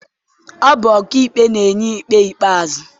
Ọ bụ ọkaikpe na-enye ikpe ikpeazụ.